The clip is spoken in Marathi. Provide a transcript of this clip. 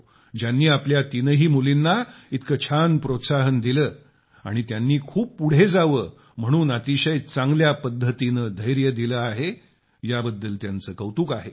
ज्यांनी आपल्या तिनही मुलींना इतकं छान प्रोत्साहन दिलं आणि त्यांनी खूप पुढं जावं म्हणून अतिशय चांगल्या पद्धतीनं धैर्य दिलं आहे याबद्दल त्यांचं कौतुक आहे